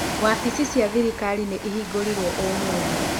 Wabici cia thirikari nĩ ihingũrĩrwo ũmũthĩ.